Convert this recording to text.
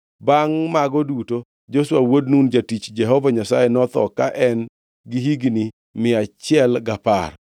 Bangʼ mago duto, Joshua wuod Nun, jatich Jehova Nyasaye, notho ka en gi higni mia achiel gapar.